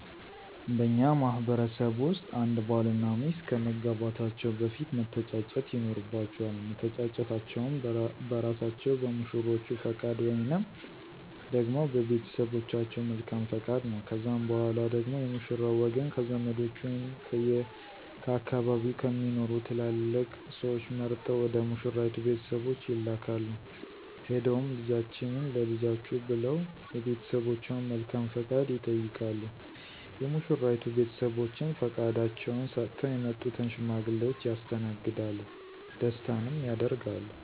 በእኛ ማህበረሰብ ውስጥ አንድ ባል እና ሚስት ከመጋባታቸው በፊት መተጫጨት ይኖርባቸዋል። መተጫጨታቸውም በእራሳቸው በሙሽሮቹ ፈቃድ ወይንም ደግሞ በቤተሰቦቻቸው መልካም ፈቃድ ነው። ከዛም በኋላ ደግሞ የሙሽራው ወገን ከዘመዶቹ ወይም ከአካባቢው ከሚኖሩ ትላላቅ ስዎች መርጠው ወደ ሙሽራይቱ ቤተሰቦች ይላካሉ፤ ሄደውም ልጃችንን ለልጃችሁ ብለው የቤተሰቦቿን መልካም ፈቃድ ይጠይቃሉ። የሙሽራይቱ ቤተሰቦችም ፈቃዳቸውን ሰጥተው የመጡትን ሽማግሌዎች ያስተናግዳሉ ደስታንም ያደርጋሉ።